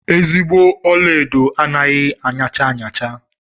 Ezigbo ọlaedo anaghị aṅacha aṅacha.